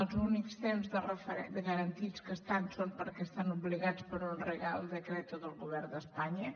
els únics temps garantits que ho estan són perquè estan obligats per un real decretogovern d’espanya